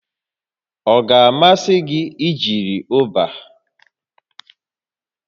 Ọ ga-amasị gị ijiri Uba?